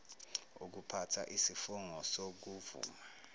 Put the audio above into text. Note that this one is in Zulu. ukuphatha isifungo sokuvuma